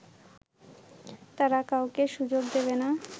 তারা কাউকে সুযোগ দেবে না